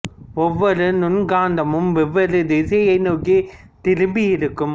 ஒவ்வொரு நுண் காந்தமும் வெவ்வேறு திசையை நோக்கித் திரும்பி இருக்கும்